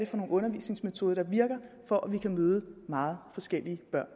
for nogle undervisningsmetoder der virker for at vi kan møde meget forskellige børn